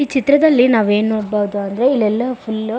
ಈ ಚಿತ್ರದಲ್ಲಿ ನಾವು ಏನ್ ನೋಡಬಹುದು ಅಂದ್ರೆ ಇಲ್ಲೆಲ್ಲಾ ಫುಲ್ಲು --